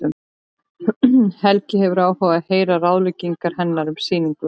Helgi hefur áhuga á að heyra ráðagerðir hennar um sýningu.